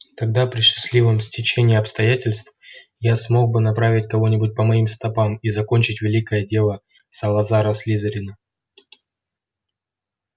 тогда при счастливом стечении обстоятельств я смог бы направить кого-нибудь по моим стопам и закончить великое дело салазара слизерина